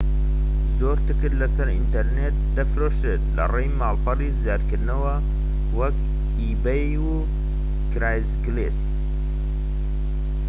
زۆر تکت لەسەر ئینتەرنێت دەفرۆشرێت لەڕیی ماڵپەڕی زیادکردنەوە وەکو ئیبەی و کرەیگسلیست